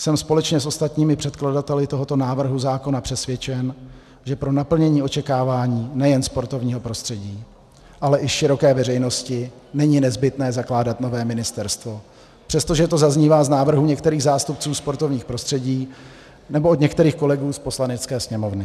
Jsem společně s ostatními předkladateli tohoto návrhu zákona přesvědčen, že pro naplnění očekávání nejen sportovního prostředí, ale i široké veřejnosti není nezbytné zakládat nové ministerstvo, přestože to zaznívá z návrhů některých zástupců sportovního prostředí nebo od některých kolegů z Poslanecké sněmovny.